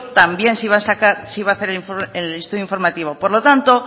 también se iba a hacer el estudio informativo por lo tanto